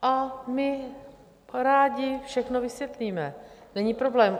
A my rádi všechno vysvětlíme, není problém.